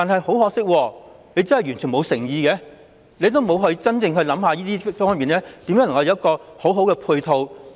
很可惜，當局完全沒有誠意，並未認真思考如何為此提供良好配套。